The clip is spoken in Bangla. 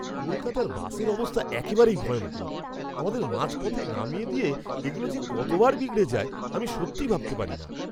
কলকাতার বাসের অবস্থা একেবারেই ভয়ঙ্কর! আমাদের মাঝপথে নামিয়ে দিয়ে এগুলো যে কতবার বিগড়ে যায় আমি সত্যিই ভাবতে পারিনা।